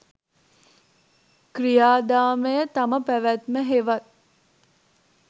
ක්‍රියාදාමය, තම පැවැත්ම හෙවත්